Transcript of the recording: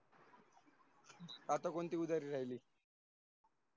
आता कोणते उदारी राहिले?